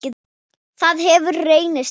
Það hefur reynst rétt.